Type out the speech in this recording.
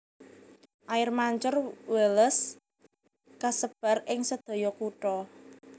Air Mancur Wallace kasebar ing sedaya kutha